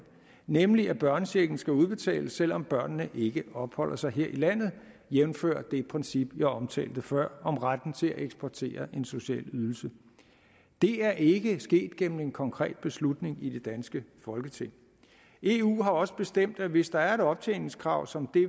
nemlig at børnechecken skal udbetales selv om børnene ikke opholder sig her i landet jævnfør det princip jeg omtalte før om retten til at eksportere en social ydelse det er ikke sket igennem en konkret beslutning i det danske folketing eu har også bestemt at hvis der er et optjeningskrav som